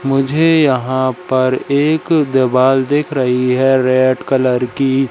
मुझे यहां पर एक देवाल दिख रही है रेड कलर की--